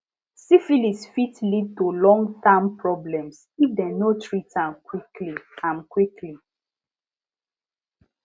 syphilis fit lead to long term problems if dem no treat am quickly am quickly